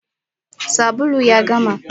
Sabulun ya gama.